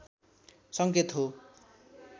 सङ्केत हो